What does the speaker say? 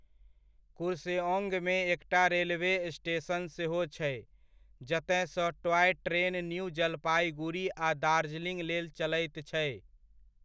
कुर्सेओंगमे एकटा railway station सेहो छै, जतय सँ टॉय ट्रेन न्यू जलपाइगुरी आ दार्जिलिंग लेल चलैत छै।